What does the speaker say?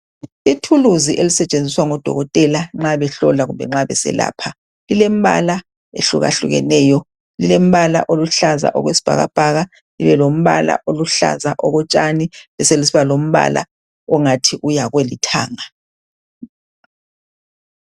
Ithuluzi elisetshenziswa ngodokoteka nxa behlola kumbe nxa beselapha, lilembala ehlukahlukeneyo. Lilembala oluhlaza okwesibhakabhaka libe lombala oluhlaza okotshani beselisiba lombala ongathi uya kolithanga.